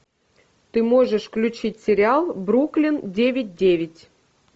ты можешь включить сериал бруклин девять девять